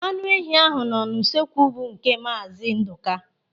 Anụ ehi ahụ nọ usuekwu bụ nke Maazi Ndụka.